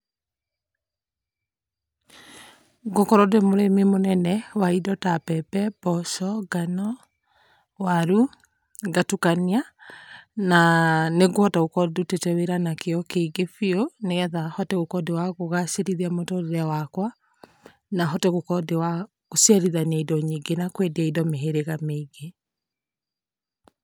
Ngũkorwo ndĩ mũrĩmi mũnene wa indo ta mbembe, mboco, ngano, waru ngatukania na nĩngũhota gũkorwo ndutĩte wĩra na kĩo kĩingĩ biũ nĩgetha hote gũkorwo kũgacĩrithia mũtũrĩre wakwa na hote gũkorwo ndĩ wa gũcerithania indo nyingĩ na kwendia indo mĩhĩrĩga mĩingĩ.